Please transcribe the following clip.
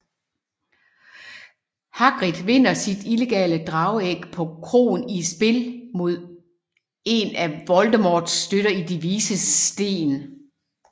Hagrid vinder sit illegale drageæg på kroen i et spil mod en af Voldemorts støtter i De Vises Sten